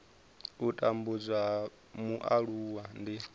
u tambudzwa ha mualuwa ndi